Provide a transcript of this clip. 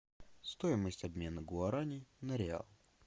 стоимость обмена гуарани на реал